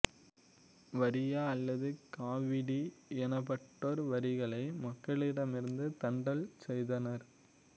வரியா அல்லது காவிடி எனப்பட்டோர் வரிகளை மக்களிடமிருந்து தண்டல் செய்தனர்